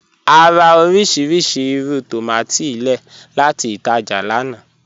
À rà orísíríṣí ìrù tómatì lẹ́ẹ̀ láti ìtàjá lána.